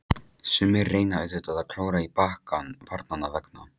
Sumir reyna auðvitað að klóra í bakkann barnanna vegna.